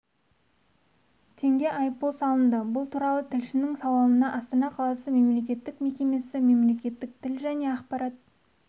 теңге айыппұл салынды бұл туралы тілшісінің сауалына астана қаласы мемлекеттік мекемесі мемлекеттік тіл және ақпарат